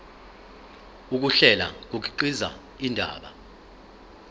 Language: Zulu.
ukuhlela kukhiqiza indaba